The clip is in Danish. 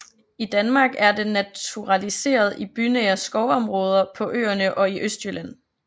I Danmark er den naturaliseret i bynære skovområder på Øerne og i Østjylland